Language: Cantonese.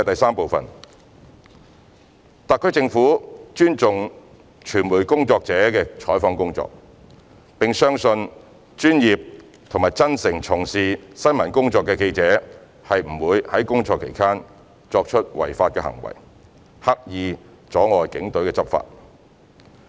三特區政府尊重傳媒工作者的採訪工作，並相信專業和真誠從事新聞工作的記者不會在工作期間作出違法行為，刻意阻礙警隊執法。